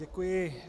Děkuji.